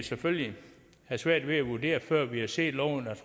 selvfølgelig have svært ved at vurdere før vi har set loven